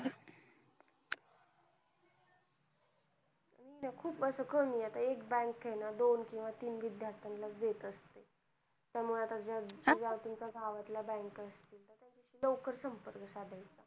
त्या खुप अस कमी आहे एक bank आहे ना दोन केव्हा तीन विद्यार्थी ना च देत असते त्यामुळे आह गावातल्या bank असतील तर लवकर संपर्क साधायचं